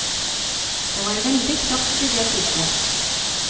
Det var veldig kraft i det puffet.